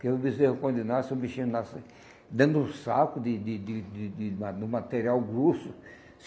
Porque o bezerro quando nasce, o bichinho nasce dando um saco de de de de de da do material grosso.